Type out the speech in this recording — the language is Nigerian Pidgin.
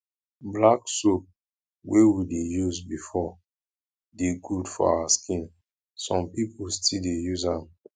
black soap wey we dey use before dey good for our skin some pipo still dey use am